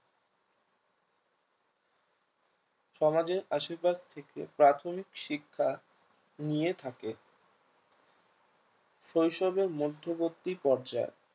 সমাজের আশেপাশে থেকে প্রাথমিক শিক্ষা নিয়ে থাকে শৈশবের মধ্যবর্তী পর্যায়